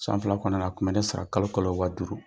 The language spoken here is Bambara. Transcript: San fila kɔnɔnana , a tun bɛ ne sara kalo o kalo wa duuru